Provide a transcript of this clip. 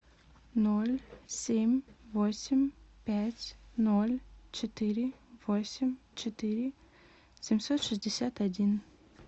ноль семь восемь пять ноль четыре восемь четыре семьсот шестьдесят один